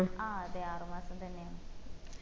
ആ അതെ ആറുമാസം തന്നെയാണ്